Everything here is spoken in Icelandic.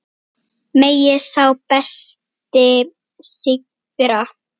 Megi sá besti sigra.